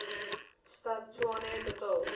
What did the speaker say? stad tshwane betaal